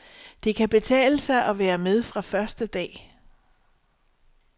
Det kan betale sig at være med fra første dag.